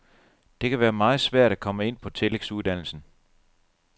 Det kan være meget svært at komme ind på tillægsuddannelsen.